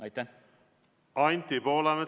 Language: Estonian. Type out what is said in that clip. Anti Poolamets, palun!